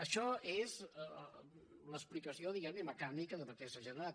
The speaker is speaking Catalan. això és l’explicació diguem ne mecànica de per què s’ha generat